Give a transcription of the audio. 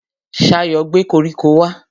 Ṣayọ̀ gbé koríko wá